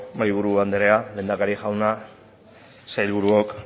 mahaiburu anderea lehendakari jauna sailburuok